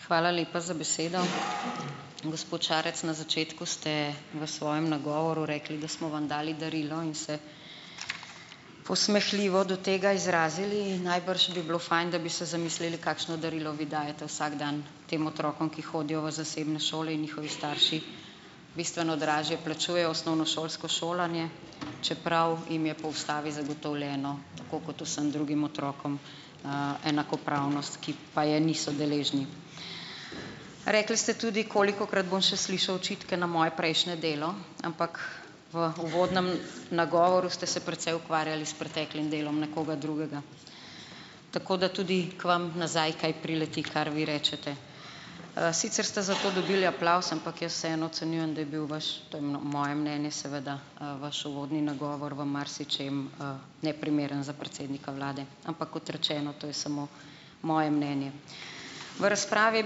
Hvala lepa za besedo. Gospod Šarec, na začetku ste v svojem nagovoru rekli, da smo vam dali darilo in se posmehljivo do tega izrazili in najbrž bi bilo fajn, da bi se zamislili, kakšno darilo vi dajete vsak dan tem otrokom, ki hodijo v zasebne šole in njihovi starši bistveno dražje plačujejo osnovnošolsko šolanje, čeprav jim je po ustavi zagotovljeno, tako kot vsem drugim otrokom, enakopravnost, ki pa je niso deležni. Rekli ste tudi: "Kolikokrat bom še slišal očitke na moje prejšnje delo." Ampak v uvodnem nagovoru ste se precej ukvarjali s preteklim delom nekoga drugega, tako da tudi k vam nazaj kaj prileti, kar vi rečete, sicer ste za to dobili aplavz, ampak jaz vseeno ocenjujem, da ja bil vaš - to je moje mnenje seveda - vaš uvodni nagovor v marsičem, neprimeren za predsednika vlade, ampak kot rečeno, to je samo moje mnenje. V razpravi je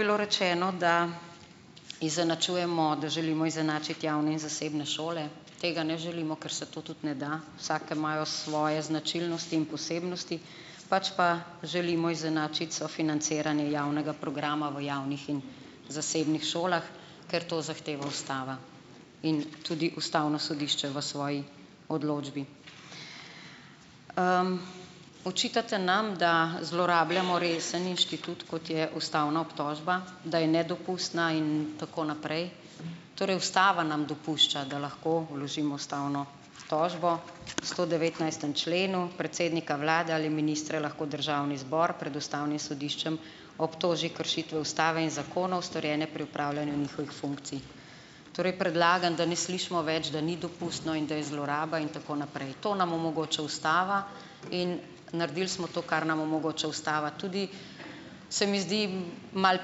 bilo rečeno, da izenačujemo, da želimo izenačiti javne in zasebne šole. Tega ne želimo, ker se to tudi ne da. Vsake imajo svoje značilnosti in posebnosti, pač pa želimo izenačiti sofinanciranje javnega programa v javnih in zasebnih šolah, ker to zahteva ustava in tudi ustavno sodišče v svoji odločbi. Očitate nam, da zlorabljamo resen inštitut , kot je ustavna obtožba, da je nedopustna in tako naprej. Torej, ustava nam dopušča, da lahko vložimo ustavno tožbo v stodevetnajstem členu: "Predsednika vlade ali ministre lahko državni zbor pred ustavnim sodiščem obtoži kršitve ustave in zakonov, storjene pri opravljanju njihovih funkcij." Torej predlagam, da ne slišimo več, da ni dopustno in da je zloraba in tako naprej. To nam omogoča ustava in naredili smo to, kar nam omogoča ustava. Tudi se mi zdi malo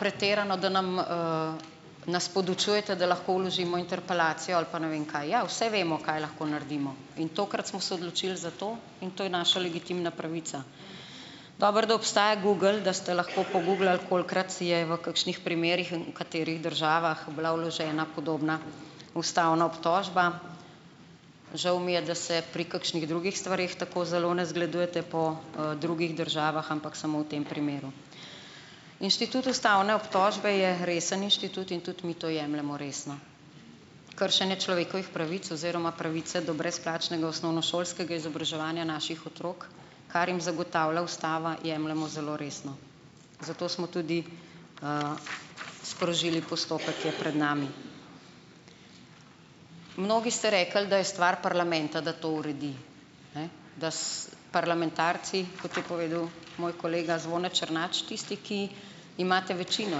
pretirano, da nam, nas podučujete, da lahko vložimo interpelacijo, ali pa ne vem kaj, ja, vse vemo, kaj lahko naredimo in tokrat smo se odločili za to in to je naša legitimna pravica. Dobro, da obstaja Google, da ste lahko poguglali, kolikokrat je v kakšnih primerih in v katerih državah bila vložena podobna ustavna obtožba. Žal mi je, da se pri kakšnih drugih stvareh tako zelo ne zgledujete po, drugih državah, ampak samo v tem primeru. Inštitut ustavne obtožbe je resen inštitut in tudi mi to jemljemo resno. Kršenje človekovih pravic oziroma pravice do brezplačnega osnovnošolskega izobraževanja naših otrok, kar jim zagotavlja ustava, jemljemo zelo resno. Zato smo tudi, sprožili postopek, ki je pred nami. Mnogi ste rekli, da je stvar parlamenta, da to uredi. Ne, da parlamentarci, kot je povedal moj kolega Zvone Černač, tisti, ki imate večino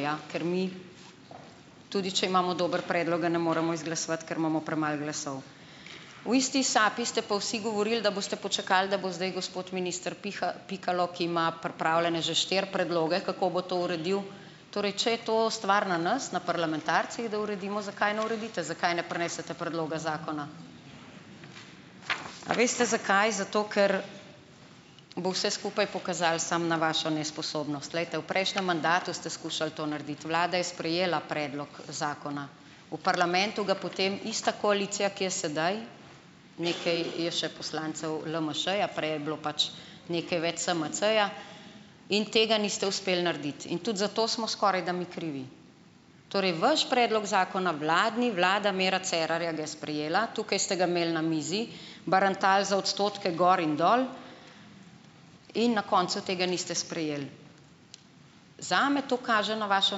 ja, ker mi tudi, če imamo dober predlog, ga ne moremo izglasovati, ker imamo premalo glasov. V isti sapi ste pa vsi govorili, da boste počakali, da bo zdaj gospod minister Pikalo, ki ima pripravljene že štiri predloge, kako bo to uredil. Torej, če je to stvar na nas, na parlamentarcih, da uredimo, zakaj ne uredite, zakaj ne prinesete predloga zakona? A veste zakaj, zato, ker bo vse skupaj pokazalo samo na vašo nesposobnost. Glejte, v prejšnjem mandatu ste skušali to narediti, vlada je sprejela predlog zakona, v parlamentu ga potem ista koalicija, ki je sedaj, nekaj je še poslancev LMŠ-ja, prej je bilo pač nekaj več SMC-ja, in tega niste uspeli narediti in tudi zato smo skorajda mi krivi. Torej vaš predlog zakona, vladni, vlada Mira Cerarja ga je sprejela, tukaj ste ga imeli na mizi, barantali za odstotke gor in dol in na koncu tega niste sprejeli. Zame to kaže na vašo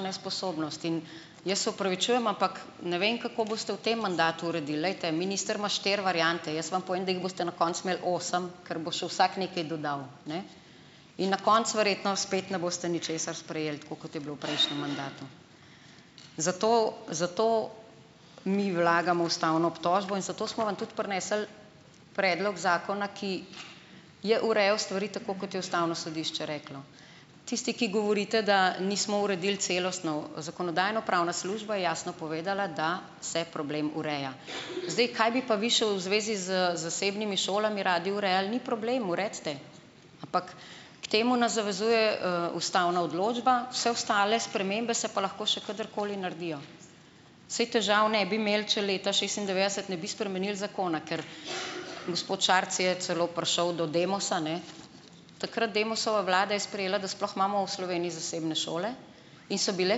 nesposobnost in jaz se opravičujem, ampak ne vem, kako boste v tem mandatu uredili. Glejte, minister ima štiri variante, jaz vam povem, da jih boste na koncu imeli osem, ker bo še vsak nekaj dodal, ne, in na koncu verjetno spet ne boste ničesar sprejeli, tako kot je bilo v prejšnjem mandatu. Zato zato mi vlagamo ustavno obtožbo in zato smo vam tudi prinesli predlog zakona, ki je urejal stvari tako, kot je ustavno sodišče reklo. Tisti, ki govorite, da nismo uredil celostno - zakonodajno-pravna služba je jasno povedala, da se problem ureja. Zdaj, kaj bi pa vi še v zvezi z zasebnimi šolami radi urejali? Ni problem, uredite, ampak k temu nas zavezuje, ustavna odločba, vse ostale spremembe se pa lahko še kadarkoli naredijo. Saj težav ne bi imeli, če leta šestindevetdeset ne bi spremenili zakona, ker gospod Šarec je celo prišel do Demosa, ne. Takrat Demosova vlada je sprejela, da sploh imamo v Sloveniji zasebne šole in so bile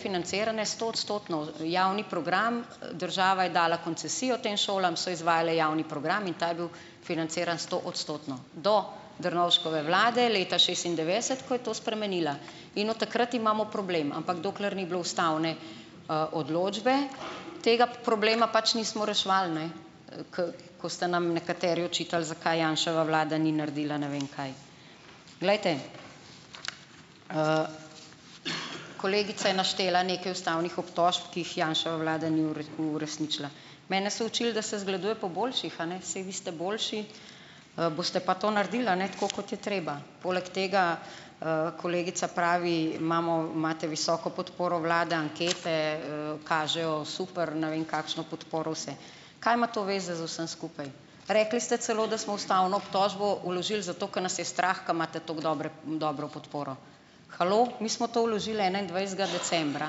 financirane stoodstotno. Javni program, država je dala koncesijo tem šolam, so izvajale javni program in ta je bil financiran stoodstotno, do Drnovškove vlade leta šestindevetdeset, ko je to spremenila, in od takrat imamo problem, ampak dokler ni bilo ustavne, odločbe, tega problema pač nismo reševali, ne. Ker ko ste nam nekateri očitali, zakaj Janševa vlada ni naredila ne vem kaj. Glejte, kolegica je naštela nekaj ustavnih obtožb, ki jih Janševa vlada ni uresničila. Mene so učili, da se zgleduje po boljših, a ne, saj vi ste boljši, boste pa to naredili, a ne, tako kot je treba. Poleg tega, kolegica pravi: "Imamo, imate visoko podporo vlade, ankete, kažejo super." Ne vem, kakšno podporo vse. Kaj ima to zveze z vsem skupaj? Rekli ste celo, da smo ustavno obtožbo vložili zato, ker nas je strah, ker imate tako dobre dobro podporo. Halo, mi smo to vložili enaindvajsetega decembra,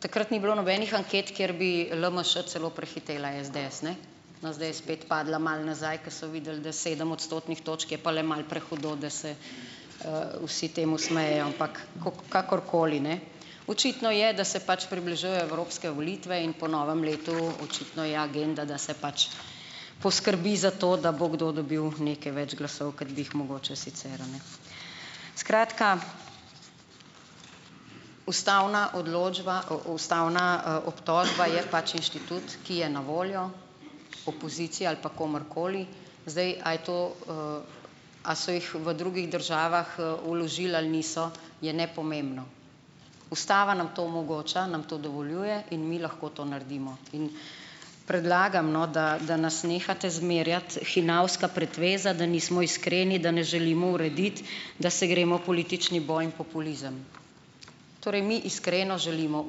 takrat ni bilo nobenih anket, kjer bi LMŠ celo prehitela SDS, ne. No, zdaj je spet padla malo nazaj, ker so videli, da sedem odstotnih točk je pa le malo prehudo, da se, vsi temu smejejo, ampak kakorkoli, ne. Očitno je, da se pač približujejo evropske volitve in po novem letu očitno je agenda, da se pač poskrbi za to, da bo kdo dobil nekaj več glasov, kot bi jih mogoče sicer, a ne. Skratka, ustavna odločba, ustavna, obtožba je pač inštitut, ki je na voljo opoziciji ali pa komurkoli, zdaj, a je to, a so jih v drugih državah vložili ali niso, je nepomembno. Ustava nam to omogoča, nam to dovoljuje in mi lahko to naredimo. In predlagam, no, da da nas nehate zmerjati, hinavska pretveza, da nismo iskreni, da ne želimo urediti, da se gremo politični boj in populizem. Torej mi iskreno želimo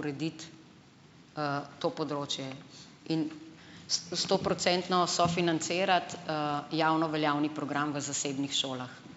urediti, to področje in stoprocentno sofinancirati, javno veljavni program v zasebnih šolah.